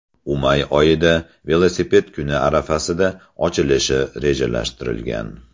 U may oyida, Velosiped kuni arafasida, ochilishi rejalashtirilgan.